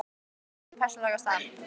Guðný: Hver er þín persónulega staða?